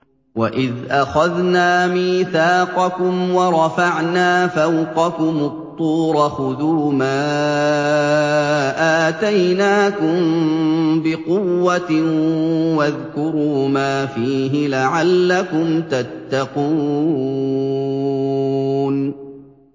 وَإِذْ أَخَذْنَا مِيثَاقَكُمْ وَرَفَعْنَا فَوْقَكُمُ الطُّورَ خُذُوا مَا آتَيْنَاكُم بِقُوَّةٍ وَاذْكُرُوا مَا فِيهِ لَعَلَّكُمْ تَتَّقُونَ